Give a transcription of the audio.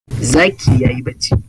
Zaki ya yi barci.